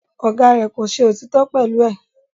Ọ̀gá rẹ̀ kò ṣe òtítọ́ pẹ̀lú ẹ̀